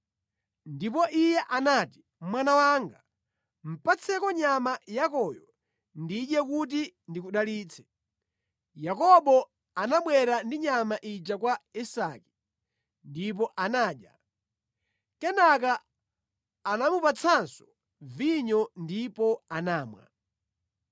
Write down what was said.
Ndipo iye anati, “Mwana wanga, patseko nyama yakoyo ndidye kuti ndikudalitse.” Yakobo anabwera ndi nyama ija kwa Isake ndipo anadya. Kenaka anamupatsanso vinyo ndipo anamwa.